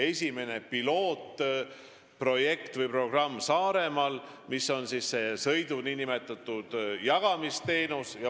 Esimest pilootprojekti või -programmi katsetame Saaremaal.